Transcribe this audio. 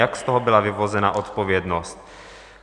Jak z toho byla vyvozena odpovědnost?